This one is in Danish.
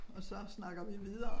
Og så snakker vi videre